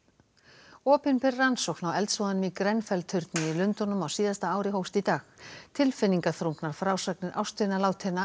opinber rannsókn á eldsvoðanum í Grenfell turni í Lundúnum á síðasta ári hófst í dag tilfinningaþrungnar frásagnir ástvina látinna